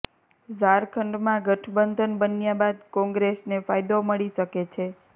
ઝારખંડમાં ગઠબંધન બન્યા બાદ કોંગ્રેસને ફાયદો મળી શકે છે